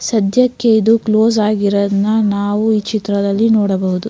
ಸದ್ಯಕ್ಕೆ ಇದು ಕ್ಲೋಸ್ ಆಗಿರೋದ್ನ್ ನಾವು ಈ ಚಿತ್ರದಲ್ಲಿ ನೋಡಬಹುದು.